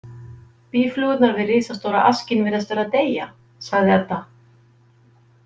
Býflugurnar við risastóra askinn virðast vera að deyja, sagði Edda.